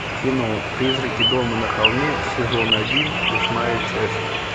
кино призраки дома на холме сезон один восьмая часть